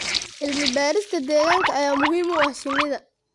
Cilmi-baarista deegaanka ayaa muhiim u ah shinnida.